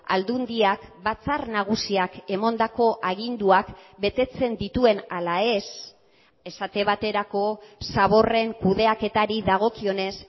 aldundiak batzar nagusiak emandako aginduak betetzen dituen ala ez esate baterako zaborren kudeaketari dagokionez